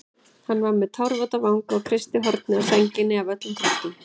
Hann var með tárvota vanga og kreisti hornið á sænginni af öllum kröftum.